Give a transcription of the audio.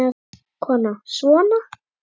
Kona: Svona?